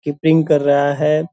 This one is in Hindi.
कीपिंग कर रहा है।